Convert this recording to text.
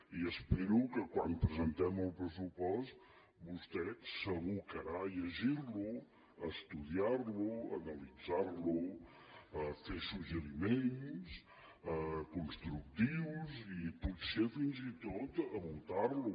i espero que quan presentem el pressupost vostè s’abocarà a llegir lo a estudiar lo a analitzar lo a fer suggeriments constructius i potser fins i tot a votar lo